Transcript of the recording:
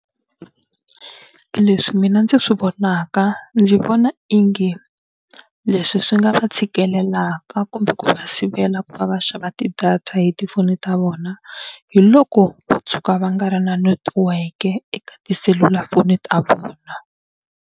Leswi mina ndzi swi vonaka ndzi vona inge leswi swi nga tshikelelaka kumbe ku va sivela ku va va xava ti-data hi tifoni ta vona hi loko va tshuka va nga ri na netiweke eka tiselulafoni ta vona.